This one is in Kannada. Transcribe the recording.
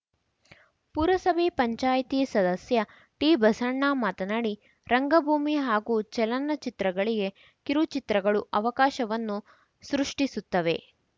ಪುರಸಭೆ ಪಂಚಾಯ್ತಿ ಸದಸ್ಯ ಟಿಬಸಣ್ಣ ಮಾತನಾಡಿ ರಂಗಭೂಮಿ ಹಾಗೂ ಚಲನಚಿತ್ರಗಳಿಗೆ ಕಿರುಚಿತ್ರಗಳು ಅವಕಾಶವನ್ನು ಸೃಷ್ಟಿಸುತ್ತವೆ